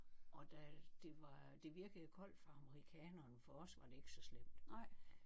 Og da det var det virkede koldt for amerikaneren for os var det ikke så slemt